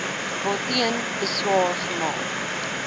waarteen beswaar gemaak